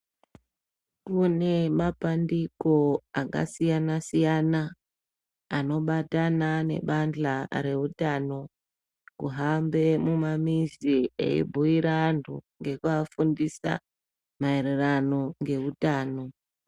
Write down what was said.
Kune mapandiko akasiyana-siyana, anobatana nebandla rehutano kuhambe mumamizi eibhuira antu ngekuafundisa maererano ngehutano.